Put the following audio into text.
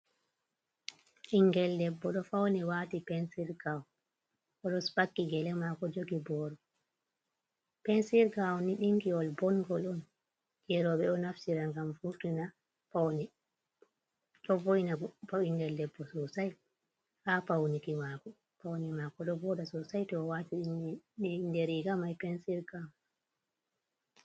Ɓingel debbo ɗo fauni wati pensirgawun, oɗo spaki gele mako jogi boro. pensiirgawun ni, dinki wol bongol on jeroɓe o naftira ngam vurtina paune, ɗo vo'ina ɓingel debbo sosai ha paune mako, ɗo voɗa sosai to o wati inde riga mai pensirgawon.